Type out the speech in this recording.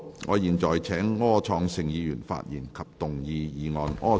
我現在請柯創盛議員發言及動議議案。